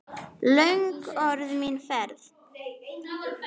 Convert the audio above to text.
Löng er orðin mín ferð.